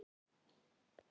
Viltu slást við mig?